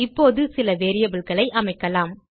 இப்போது சில வேரியபிள்ஸ் ஐ அமைக்கலாம்